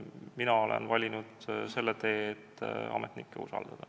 Mina olen valinud selle tee, et ametnikke usaldada.